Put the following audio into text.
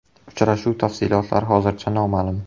Uchrashuv tafsilotlari hozircha noma’lum.